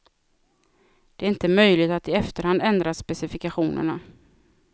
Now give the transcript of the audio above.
Det är inte möjligt att i efterhand ändra specifikationerna.